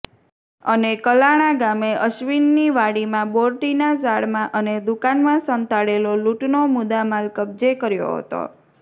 અને કલાણા ગામે અશ્વિનની વાડીમાં બોરડીનાં ઝાડમાં અને દુકાનમાં સંતાડેલો લૂંટનો મુદામાલ કબજે કર્યો હતો